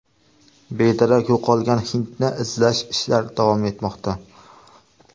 Bedarak yo‘qolgan hindni izlash ishlari davom etmoqda.